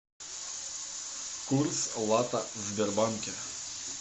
курс лата в сбербанке